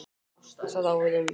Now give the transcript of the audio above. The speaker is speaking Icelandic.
Það á við um